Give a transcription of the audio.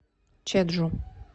чеджу